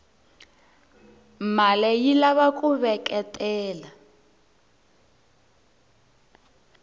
male yilava kuveketela